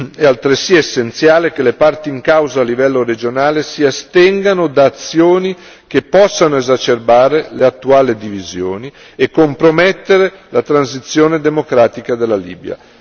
È altresì essenziale che le parti in causa a livello regionale si astengano da azioni che possano esacerbare le attuali divisioni e compromettere la transizione democratica della Libia.